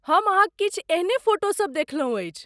हम अहाँक किछु एहने फोटोसब देखलौं अछि।